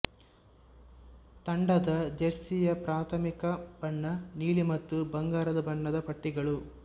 ತಂಡದ ಜೆರ್ಸಿ ಯ ಪ್ರಾಥಮಿಕ ಬಣ್ಣ ನೀಲಿ ಮತ್ತು ಬಂಗಾರ ಬಣ್ಣದ ಪಟ್ಟಿಗಳು